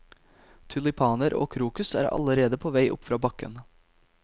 Tulipaner og krokus er allerede på vei opp fra bakken.